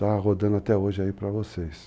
Tá rodando até hoje aí para vocês.